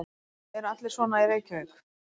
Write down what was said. Eru allir svona í Reykjavík?